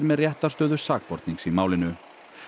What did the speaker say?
með réttarstöðu sakbornings í málinu